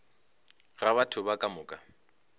ga batho ba ka moka